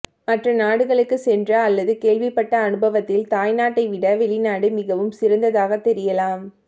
மற்ற நாடுகளுக்கு சென்ற அல்லது கேள்விப்பட்ட அனுபவத்தில் தாய் நாட்டைவிட வெளிநாடு மிகவும் சிறந்ததாக தெரியலாம்